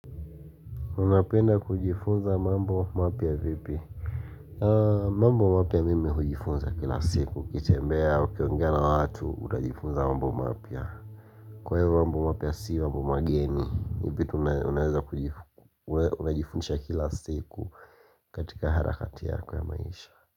Unapenda kujifunza mambo mapya vipi? Mambo mapya mimi hujifunza kila siku, ukitembea, ukiongea na watu unajifunza mambo mapya. Kwa hivyo mambo mapya si mambo mageni. Ni vitu unajifundisha kila siku katika harakati yako ya maisha.